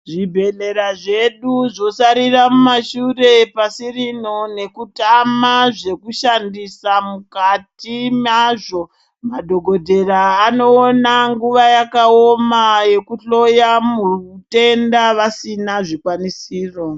Zvibhedhlera zvedu zvosarira mumashure pasi rino nekutama zvekushandisa mukati mazvo madhokodhera anoona yakaoma yekuhloya mutenda vasina zvikwanisiro.